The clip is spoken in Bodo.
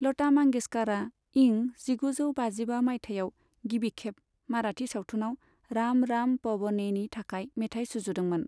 लता मंगेशकरआ इं जिगुजौ बाजिबा माइथायाव गिबिखेब मराठी सावथुनआव राम राम पवनेनि थाखाय मेथाइ सुजुदोंमोन।